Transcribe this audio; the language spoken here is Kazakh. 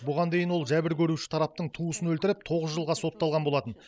бұған дейін ол жәбір көруші тараптың туысын өлтіріп тоғыз жылға сотталған болатын